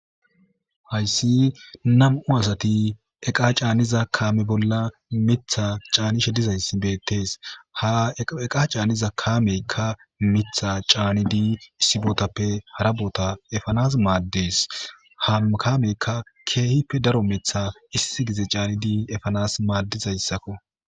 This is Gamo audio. hayssi nam7u asati eqa caaniza kaame bolla mitha caanishe dizayssi beettees ha eqa caaniza kaameykka mitha caanidii issi bootappe harabota efanas maaddees ha kaamekka keehippe daro metha issi gize caani dii efanas maaddizayssakko